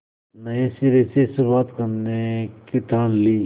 नए सिरे से शुरुआत करने की ठान ली